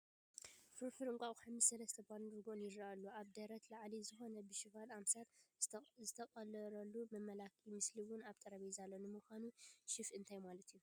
ፍርፍር እንቋቑሖ ምስ ሰለስተ ባንን ርጉኦን ይርአ ኣሎ፡፡ ካብ ደረት ንላዕሊ ዝኾነ ብሸፍ ኣምሳል ዝተቐለረፀ መመላክዒ ምስሊ እውን ኣብ ጠረጴዛ ኣሎ፡፡ ንምዃኑ ሸፍ እንታይ ማለት እዩ?